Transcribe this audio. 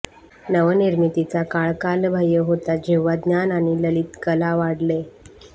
नवनिर्मितीचा काळ कालबाह्य होता जेव्हा ज्ञान आणि ललित कला वाढले